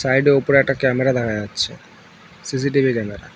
Side -এ ওপরে একটা ক্যামেরা দেখা যাচ্ছে সি_সি_টি_ভি ক্যামেরা ।